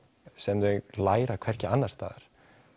sem þau læra hvergi annars staðar